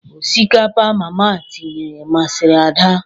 Osikapa mama tinye masịrị Ada.